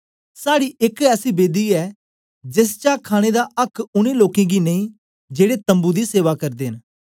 साड़ी एक ऐसी बेदी ऐ जेस चा खाणे दा आक्क उनै लोकें गी नेई जेड़े तम्बू दी सेवा करदे न